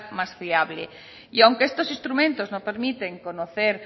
más fiable y aunque estos instrumentos no permiten conocer